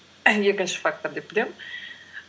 екінші фактор деп білемін